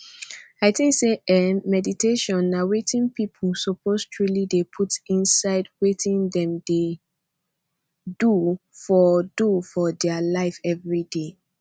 i think say eeh meditation na wetin people suppose truely dey put inside wetin dem dey do for do for dia life everyday